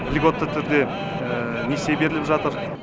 льготты түрде несие беріліп жатыр